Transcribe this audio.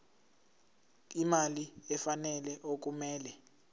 imali efanele okumele